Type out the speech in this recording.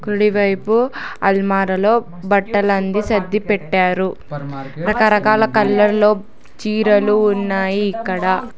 కుడివైపు అల్మారలో బట్టలన్ని సర్ది పెట్టారు రకరకాల కలర్ లో చీరలు ఉన్నాయి ఇక్కడ.